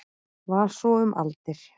Var svo um aldir.